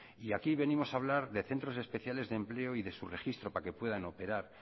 y aquí venimos a hablar de centros especiales de empleo y su registro para que puedan operar